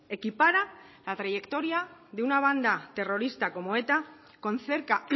equipara la trayectoria de una banda terrorista como eta con cerca